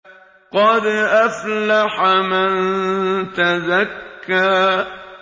قَدْ أَفْلَحَ مَن تَزَكَّىٰ